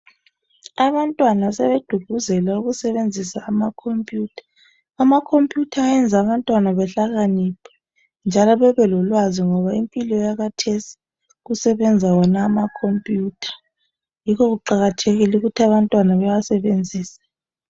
Abantwana sebeququzelwa ukusebenzisa amakhomputha. Amakhomputha ayenza abantwana bahlakaniphe njalo bebelolwazi ngoba impilo yakhathesi kusebenza wona amakhomputha yikho kuqakathekile ukuthi abantwana bawasebenzise.